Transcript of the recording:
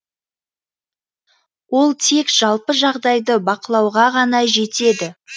ол тек жалпы жағдайды бақылауға ғана жетеді